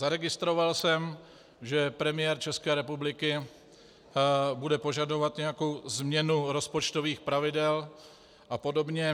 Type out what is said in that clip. Zaregistroval jsem, že premiér České republiky bude požadovat nějakou změnu rozpočtových pravidel a podobně.